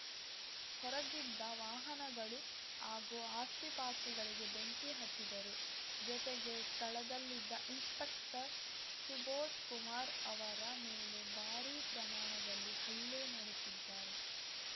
ಹೊರಗಿದ್ದ ವಾಹನಗಳು ಹಾಗೂ ಆಸ್ತಿಪಾಸ್ತಿಗಳಿಗೆ ಬೆಂಕಿ ಹಚ್ಚಿದರು ಜೊತೆಗೆ ಸ್ಥಳದಲ್ಲಿದ್ದ ಇನ್ಸ್‌ಪೆಕ್ಟರ್‌ ಸುಬೋಧ್‌ಕುಮಾರ್‌ ಅವರ ಮೇಲೆ ಭಾರೀ ಪ್ರಮಾಣದಲ್ಲಿ ಹಲ್ಲೆ ನಡೆಸಿದ್ದಾರೆ